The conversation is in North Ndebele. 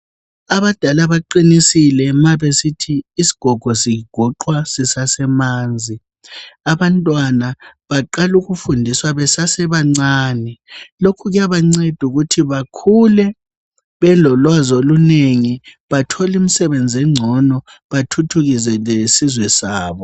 Abadala baqinisile ma besithi isgogo zigoqwa zisasemanzi. Abantwana baqalukufundiswa besasebancane. Lokhu kuyabancedu kuthi bakhule belolwazolunengi, batholimsebenze ngcono, bathuthukise lesizwe sabo.